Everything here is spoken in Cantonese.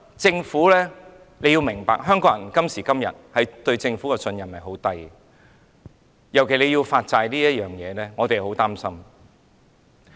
政府要明白，今時今日，香港人對政府的信任很低，尤其是對政府要發債這事上，我們是很擔心的。